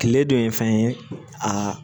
Tile dɔ ye fɛn ye aa